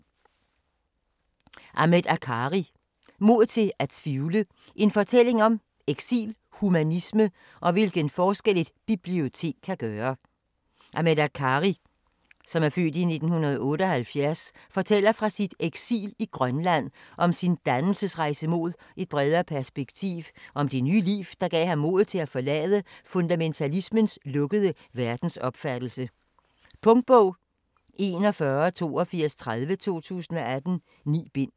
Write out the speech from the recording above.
Akkari, Ahmed: Mod til at tvivle: en fortælling om eksil, humanisme og hvilken forskel et bibliotek kan gøre Ahmed Akkari (f. 1978) fortæller fra sit eksil i Grønland, om sin dannelsesrejse mod et bredere perspektiv, og om det nye liv, der gav ham modet til at forlade fundamentalismens lukkede verdensopfattelse. Punktbog 418230 2018. 9 bind.